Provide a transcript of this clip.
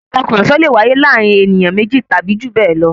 Ìtàkurọ̀sọ lè wáyé láàárín ènìyàn méjì tàbí jù bẹ́ẹ̀ lọ.